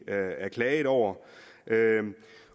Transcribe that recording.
er klaget over